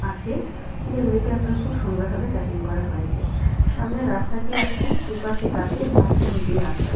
আছে যেগুলিকে আপনার খুব সুন্দর ভাবে কাটিং করা হয়েছে। সামনের রাস্তাটি আপনার দুপাশে গাছের মাঝখান দিয়ে রাস্তা।